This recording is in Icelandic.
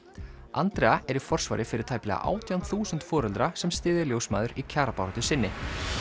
Andrea er í forsvari fyrir tæplega átján þúsund foreldra sem styðja ljósmæður í kjarabaráttu sinni